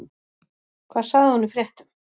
Hvað sagði hún í fréttum?